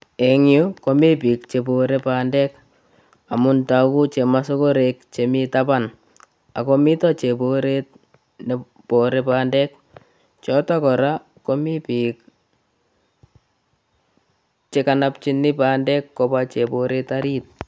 Eng yu komi biik che bore bandek amun tagu chemasogorek che mi taban ago mito cheboret ne bore bandek. Choto kora komi biik chegonopchin bandek kobwa cheboret arit.